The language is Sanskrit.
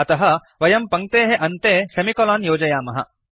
अतः वयं पङ्क्तेः अन्ते सेमिकोलन् योजयामः